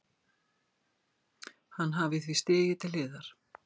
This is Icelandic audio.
Hann hafi því stigið til hliðar